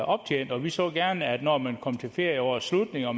optjent og vi så gerne at når man kom til ferieårets slutning og